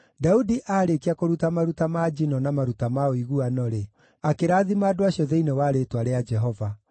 Daudi aarĩkia kũruta maruta ma njino na maruta ma ũiguano-rĩ, akĩrathima andũ acio thĩinĩ wa rĩĩtwa rĩa Jehova.